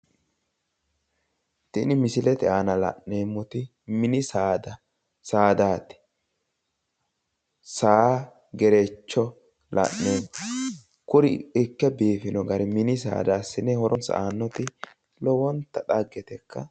Tini misilete aana la'neemmoti mini saada saadaati. saa gerecho la'neemmo kuri ikke biifino gari mini saada assine horonsa aannoti loeonta xaggetekka.